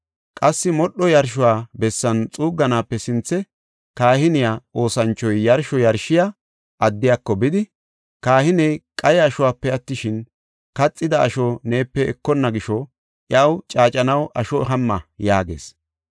Qassi modhuwa yarsho bessan xuugganaape sinthe kahiniya oosanchoy yarsho yarshiya addiyako bidi, “Kahiney qaye ashope attishin, kaxida asho neepe ekonna gisho, iyaw caacanaw asho hamma” yaagees.